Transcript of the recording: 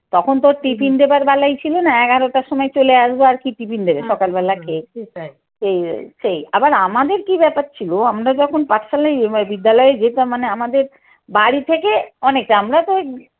তখন তোর টিফিন দেবার বালাই ছিল না এগারোটার সময় চলে আসবো আর কি টিফিন দেবে সকাল বেলা খেয়েছি তাই এই সেই আবার আমাদের কি ব্যাপার ছিল আমরা যখন পাঠশালায় বিদ্যালয়ে যেতাম মানে আমাদের বাড়ি থেকে অনেকে আমরা তো